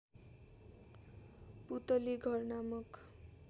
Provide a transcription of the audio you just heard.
पुतली घर नामक